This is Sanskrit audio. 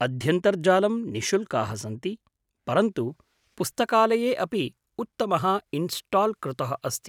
अध्यन्तर्जालं निःशुल्काः सन्ति, परन्तु पुस्तकालये अपि उत्तमः इन्स्टाल् कृतः अस्ति।